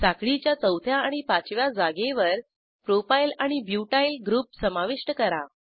साखळीच्या चौथ्या आणि पाचव्या जागेवर प्रोपायल आणि ब्युटाइल ग्रुप समाविष्ट करा